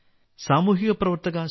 സാമൂഹിക പ്രവർത്തക ശ്രീമതി